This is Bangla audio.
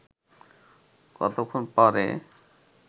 কতক্ষণ পরে